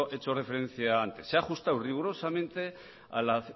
hecho referencia antes se ha ajustado rigurosamente a la